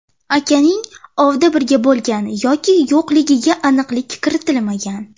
Akaning ovda birga bo‘lgan yoki yo‘qligiga aniqlik kiritilmagan.